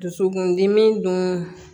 Dusukundimi dun